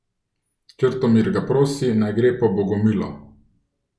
Črtomir ga prosi, naj gre po Bogomilo.